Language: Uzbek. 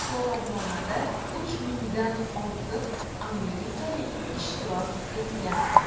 So‘rovnomada uch mingdan ortiq amerikalik ishtirok etgan.